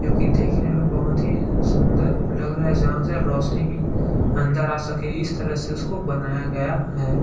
जो कि देखने में बहोत ही सुंदर लग रहा है जहाँ से रोशनी भी अंदर आ सके इस तरह से उसको बनाया गया है।